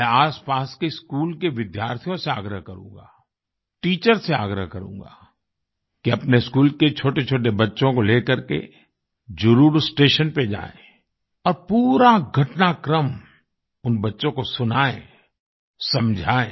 मैं आसपास के स्कूल के विद्यार्थियों से आग्रह करूँगा टीचर्स से आग्रह करूँगा कि अपने स्कूल के छोटेछोटे बच्चों को ले करके जरुर स्टेशन पर जाएँ और पूरा घटनाक्रम उन बच्चों को सुनाएँ समझाएँ